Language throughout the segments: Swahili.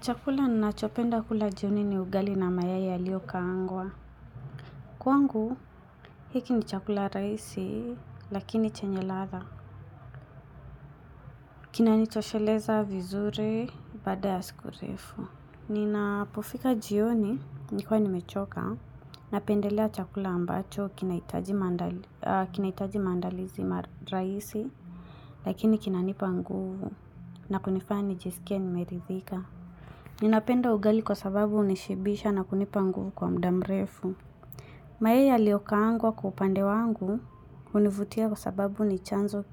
Chakula ninachopenda kula jioni ni ugali na mayai yaliokaangwa. Kwangu, hiki ni chakula raisi, lakini chenye ladha. Kina nitosheleza vizuri, bada ya siku refu. Ninapofika jioni, nikwa ni mechoka, napendelea chakula ambacho, kinaitaji mandalizi raisi, lakini kinanipa nguvu, nakunifani jesikia nimeridhika. Ninapenda ugali kwa sababu unishibisha na kunipa nguvu kwa mdamrefu. Mayai yaliyokaangwa kwa upande wangu hunivutia kwa sababu ni chanzo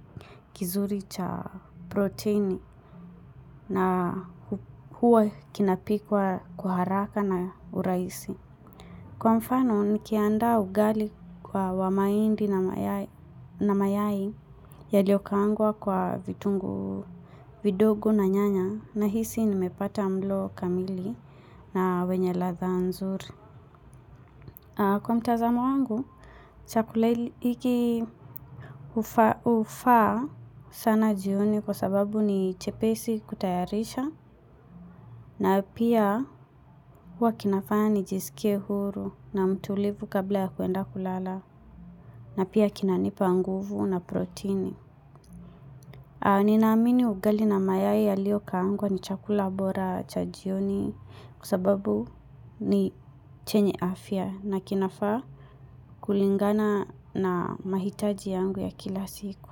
kizuri cha proteini na huwa kinapikwa kwa haraka na uraisi. Kwa mfano, nikiandaa ugali kwa wa maindi na mayai yaliyokaangwa kwa vitungu, vidogo na nyanya nahisi nimepata mlo kamili na wenye ladha nzuri. Kwa mtazamo wangu, chakula liki ufa sana jioni kwa sababu ni chepesi kutayarisha na pia wakinafani jisike huru na mtulivu kabla ya kuenda kulala. Na pia kinanipa nguvu na proteini. Ninaamini ugali na mayai yaliyokaangwa ni chakula bora cha jioni kwa sababu ni chenye afya na kinafa kulingana na mahitaji yangu ya kila siku.